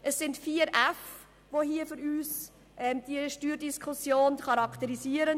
Es sind vier «F», die aus unserer Sicht diese Steuerdiskussion charakterisieren: